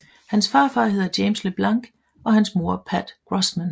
Hans far hedder James LeBlanc og hans mor Pat Grossman